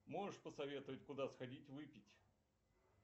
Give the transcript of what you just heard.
можешь посоветовать куда сходить выпить